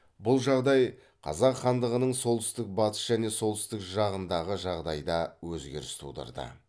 бұл жағдай қазақ хандығының солтүстік батыс және солтүстік жағындағы жағдайда өзгеріс тудырды